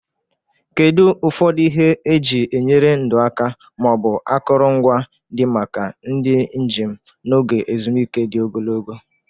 Kedu ụfọdụ ihe eji enyere ndụ aka ma ọ bụ akụrụngwa dị maka ndị njem n'oge ezumike dị ogologo?